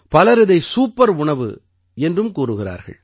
பலர் இதை சூப்பர் உணவு என்றும் கூறுகிறார்கள்